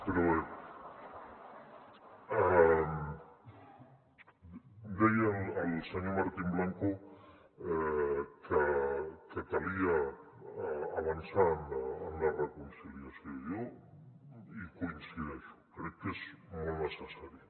però bé deia el senyor martín blanco que calia avançar en la reconciliació i jo hi coincideixo crec que és molt necessari